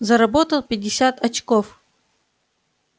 заработал пятьдесят очков